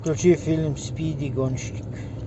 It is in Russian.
включи фильм спиди гонщик